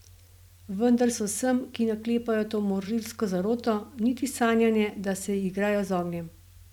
Vendar se vsem, ki naklepajo to morilsko zaroto, niti sanja ne, da se igrajo z ognjem ...